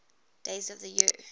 days of the year